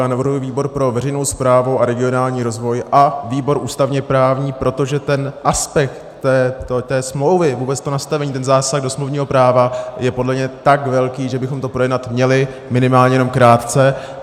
Já navrhuji výbor pro veřejnou správu a regionální rozvoj a výbor ústavně-právní, protože ten aspekt té smlouvy, vůbec to nastavení, ten zásah do smluvního práva je podle mě tak velký, že bychom to projednat měli, minimálně jenom krátce.